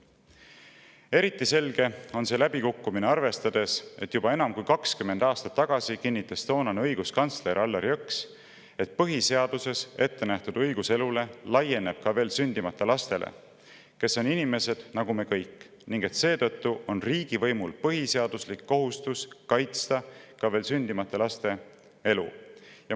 Eriti selge on see läbikukkumine, kui võtta arvesse, et juba enam kui 20 aastat tagasi kinnitas toonane õiguskantsler Allar Jõks, et põhiseaduses ettenähtud õigus elule laieneb ka veel sündimata lastele, kes on inimesed nagu me kõik, ning seetõttu on riigivõimul põhiseaduslik kohustus kaitsta ka veel sündimata laste elu.